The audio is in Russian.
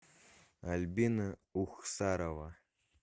альбина ухсарова